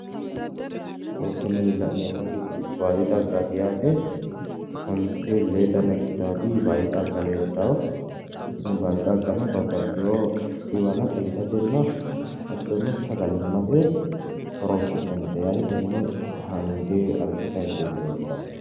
Tini la'neemmoti baadi xaggaati yaate, onte lee ikkitaati baadi xagga leeltawo, tini baadi xaggano babbaxewo dhiwana xagisatenna hattono sagalimmate horonsinannite yaate, tenne hange arrishshote hangooti leeltawo.